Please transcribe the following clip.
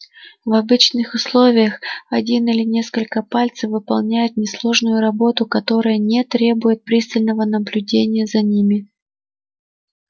в обычных условиях один или несколько пальцев выполняют несложную работу которая не требует пристального наблюдения за ними